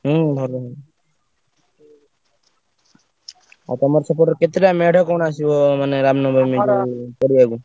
ହୁଁ ଭଲ। ଆଉ ତମର ସେପଟରେ କେତେଟା ମେଢ କଣ ଆସିବ ମାନେ ରାମନବମୀ ପଡ଼ିଆକୁ?